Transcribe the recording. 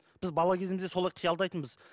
біз бала кезімізде солай қиялдайтынбыз